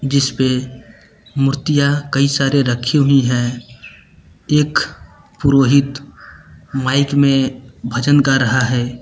जिसपे मूर्तियां कई सारी रखी हुई हैं एक पुरोहित माइक में भजन गा रहा है।